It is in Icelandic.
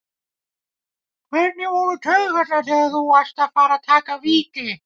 Hvernig voru taugarnar þegar þú varst að fara að taka víti?